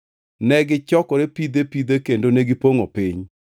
Negichokore pidhe pidhe kendo negipongʼo piny.